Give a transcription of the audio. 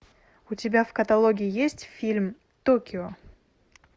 у тебя в каталоге есть фильм токио